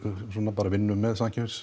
bara svona vinnum með